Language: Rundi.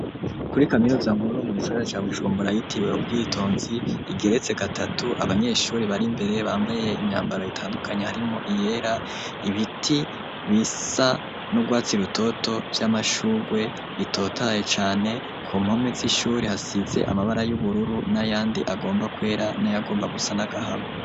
Kuri kaminuza nkuru mu gisagara ca Bujumbura yitiwe Ubwitonzi ,igeretse gatatu abanyeshuri bar'imbere bambaye imyambaro itandukanye harimwo iyera ibiti bisa n'urwatsi rutoto vy'amashugwe bitotaye cane kumpome z'ishuri hasize amabara y'ubururu n'ayandi agomba kwera n'ayagomba gusa n'agahama.